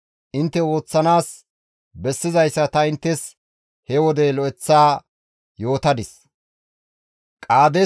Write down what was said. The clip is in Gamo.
Intte ooththanaas bessizayssa ta inttes he wode lo7eththa yootadis.